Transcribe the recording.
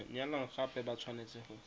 nyalana gape ba tshwanetse go